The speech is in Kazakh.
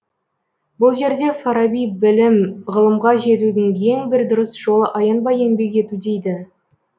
бұл жерде фараби білім ғылымға жетудің ең бір дұрыс жолы аянбай еңбек ету дейді